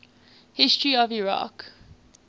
history of iraq